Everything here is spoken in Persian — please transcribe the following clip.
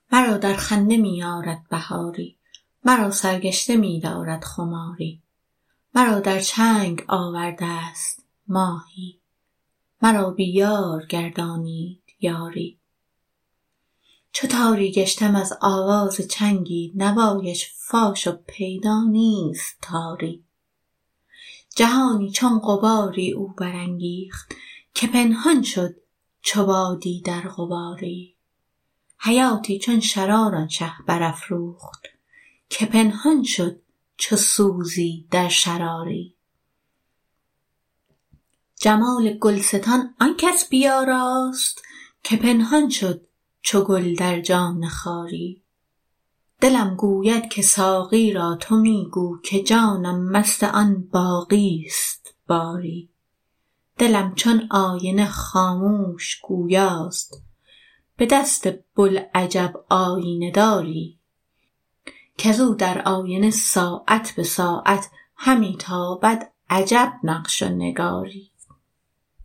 مرا در خنده می آرد بهاری مرا سرگشته می دارد خماری مرا در چرخ آورده ست ماهی مرا بی یار گردانید یاری چو تاری گشتم از آواز چنگی نوایش فاش و پیدا نیست تاری جهانی چون غباری او برانگیخت که پنهان شد چو بادی در غباری حیاتی چون شرار آن شه برافروخت که پنهان شد چو سوزی در شراری جمال گلستان آن کس برآراست که پنهان شد چو گل در جان خاری دلم گوید که ساقی را تو می گو که جانم مست آن باقی است باری دلم چون آینه خاموش گویاست به دست بوالعجب آیینه داری کز او در آینه ساعت به ساعت همی تابد عجب نقش و نگاری